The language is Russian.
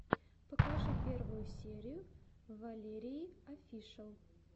покажи первую серию валерииофишиал